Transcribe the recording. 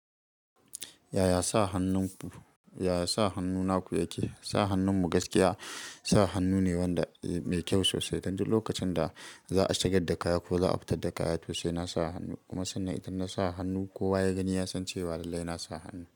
Yaya sa hannu naku yake? Sa hannun mu gaskiya, sa hannu ne wanda mai kyau sosai. Dan duk lokacin da za a shigar da kaya ko za a fita da kaya to sai na sa hannu. Kuma sannan idan na sa hannu kowa ya gani ya san cewa lallai na sa hannu.